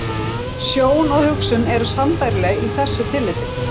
Sjón og hugsun eru sambærileg í þessu tilliti.